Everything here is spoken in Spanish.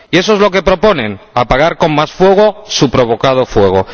Y eso es lo que proponen, apagar con más fuego su provocado fuego.